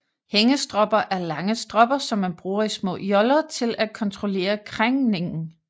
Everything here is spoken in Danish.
Hængestropper er lange stropper som man bruger i små joller til at kontrollere krængningen